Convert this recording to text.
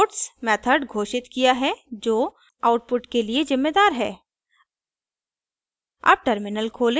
each में puts method घोषित किया है जो आउटपुट के लिए जिम्मेदार है